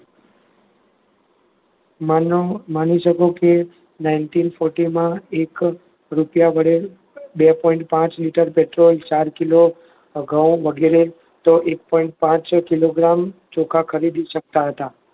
માનો માની શકું કે ninety forty માં એક જ રૂપિયા વાળી બે point પાંચ લિટર પેટ્રોલ ચાર કિલો, ઘઉં વગેરે એક point પાંચ કિલોગ્રામ ચોખા ખરીદી શકતા હતા.